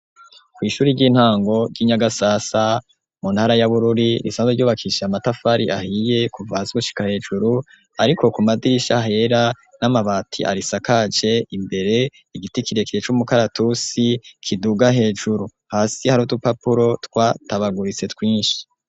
Kw'ishuri ry'intango ry'inyagasasa mu ntara y'abururi risanza ryobakisha amatafari ahiye kuvazwe ushika hejuru, ariko ku madirisha hera n'amabati arisakaje imbere igiti kirekire c'umukaratusi kiduga hejuru hasi harutupapuro twatabaguritse twinshi.